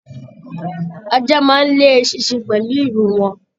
Ajá máa n le eṣinṣin pẹlú ìrù wọn.